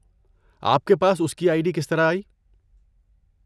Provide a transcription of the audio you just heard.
آپ کے پاس اس کی آئی ڈی کس طرح آئی؟